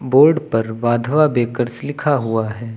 Board पर Wadhwa bakers लिखा हुआ है।